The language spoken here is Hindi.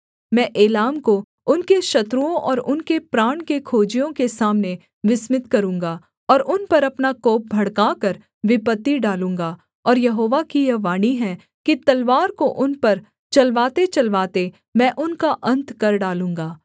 मैं एलाम को उनके शत्रुओं और उनके प्राण के खोजियों के सामने विस्मित करूँगा और उन पर अपना कोप भड़काकर विपत्ति डालूँगा और यहोवा की यह वाणी है कि तलवार को उन पर चलवातेचलवाते मैं उनका अन्त कर डालूँगा